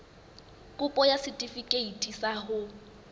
kopo ya setefikeiti sa ho